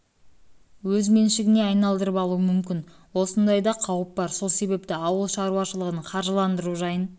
меншігіне айналдырып алуы мүмкін осындай да қауіп бар сол себепті ауыл шаруашылығын қаржыландыру жайын шешу